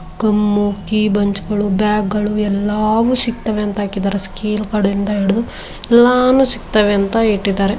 Come key ಬುಂಚ್ಗಳು bag ಗಳು ಎಲ್ಲಾವೂ ಸಿಗ್ತವೆ ಎಲ್ಲಾನು ಸಿಕ್ತಾವೆ ಅಂತ ಹಾಕಿದ್ದಾರೆ ಗಳಿಂದ ಹಿಡಿದು ಎಲ್ಲಾನು ಸಿಕ್ತಾವೆ ಅಂತ ಹಾಕಿದ್ದಾರೆ.